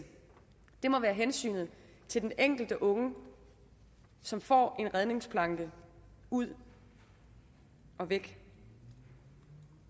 må være hensynet til den enkelte unge som får en redningsplanke ud og væk